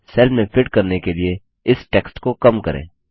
cell में fit करने के लिए इस टेक्स्ट को कम करें